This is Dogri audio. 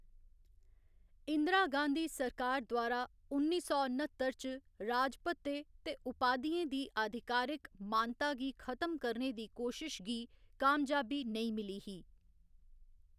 इंदिरा गांधी सरकार द्वारा उन्नी सौ न्ह्‌त्तर च राजभत्ते ते उपाधियें दी आधिकारिक मानता गी खत्म करने दी कोशश गी कामयाबी नेईं मिली ही।